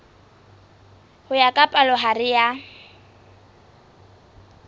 ho ya ka palohare ya